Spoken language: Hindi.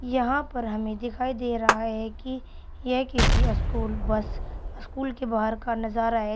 यहां पर हमे दिखाई दे रहा है कि यह किसी स्कूल बस स्कूल के बाहर का नजारा है।